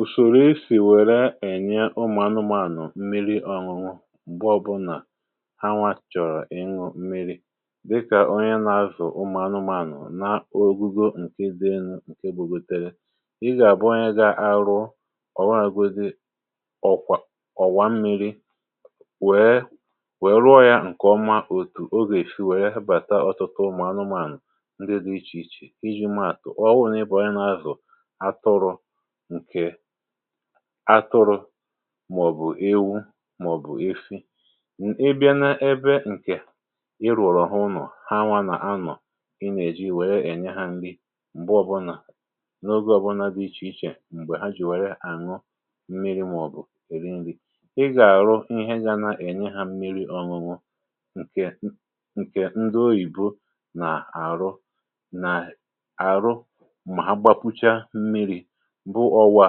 ùsòrò isì wère ènye ụmụ̀anụmànụ̀ mmiri̇ ọ̀ñụ̀ñụ̀ ụgbọ bụ̇nà ha nwàchọ̀rọ̀ ịñụ̇ mmiri̇ dịkà onye nà-azụ̀ ụmụ̀anụmànụ̀ na ogugo ǹkè dee nkè bugòtere um ịgà àbụọ onye gà-arụ ọ̀ghọ̇ àgodi ọ̀kwà ọ̀wà mmi̇ri wèe wèe rụọ yȧ ǹkè ọma otù o gà-èfi wèe hibàta ọtụtụ ụmụ̀anụmànụ̀ ndị dị ichè ichè iji̇ ma àtụ̀ ọgwụ̇ n’ịbụ̇ ọnye nà-azụ̀ atụrụ màọ̀bụ̀ ewu màọ̀bụ̀ efi n’ebia n’ebe ǹkè irùọ̀rọ̀ ha unọ̀, ha nwanne anọ̀ um ịnèji wèe ènye ha ǹdi m̀gbe ọ̀bụlà n’ogė ọ̀bụlà di ichè ichè m̀gbè ha jì wèrè àṅụ mmiri̇ màọ̀bụ̀ èri ṅri̇. ị gà-àrụ ihe gȧ na-ènye ha mmiri̇ ọ̀ṅụṅụ ǹkè ndị oyìbo nà-àrụ nà àrụ bụ ọwụ à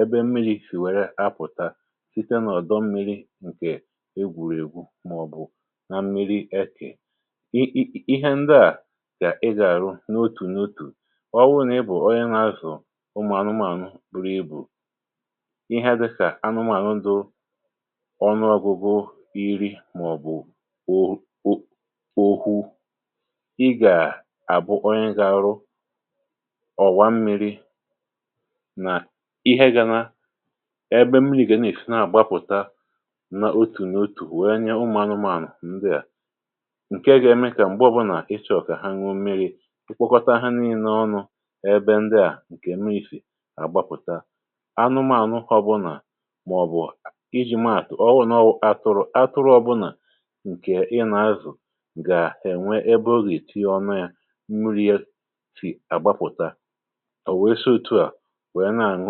ebe mmiri̇ sì wère apụ̀ta site nà ọ̀dọ mmiri ǹkè egwùregwu màọ̀bụ̀ na mmiri ekì i i ihe ndi à kà ị gà-àrụ n’otù n’otù ọ wụ nà ị bụ̀ ọyị na-azụ̀ ụmụ̀ anụmànụ bụ̀rụ ibu̇ ihe dịkà anụmànụ ndu ọnụ ọbụ̇bụ̇ iri màọ̀bụ ò òhù òhu. ị gà àbụ ọyị gà-àrụ ọ̀wà mmiri̇ ebe mmiri̇ gà nà-èsi na-àgbapùta na otù n’otù wèe nye ụmụ̀ anụmȧànụ̀ ndịà ǹke ga-eme um kà m̀gbe ọ̀bụnà ịchọ̇ kà ha nwu mmiri̇ tụkwakọta ha n’inaọnụ̇ ebe ndịà ǹkè mmiri̇ sì àgbapùta. anụmȧànụ ọ̀ bụ̀ nà màọ̀bụ̀ ǹkè iji̇ mààtụ̀ ọwụ̀ n’atụrụ atụrụ ọ̀bụnà ǹkè ị nà-azụ̀ gà ènwe ebe ọ gà-èti ọme yȧ mmiri̇ ya sì àgbapùta n’àhụ̀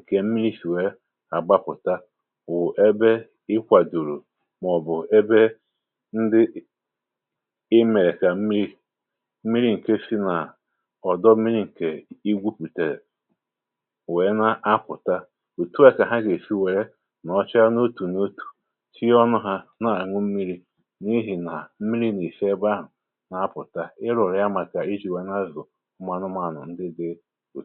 ǹkè mmiri̇ sì wèe agbapụ̀ta wụ̀ ebe i kwàdùrù màọ̀bụ̀ ebe ndi imèrè kà mmiri mmiri ǹke si nà ọ̀dọ mmiri ǹkè i gwupùtèrè wèe na-akwụ̀ta òtù a kà ha gà-èshi wèe nọọcha n’otù n’otù um tinye ọnụ̇ ha n’àhụ mmiri̇ n’ihì nà mmiri̇ nà-èshi ebe ahụ̀ nà-apụ̀ta ǹdeèdeè wù.